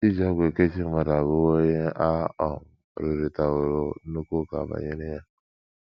I JI ọgwụ ekechi mmadụ abụwo ihe a um rụrịtaworo nnukwu ụka banyere ya.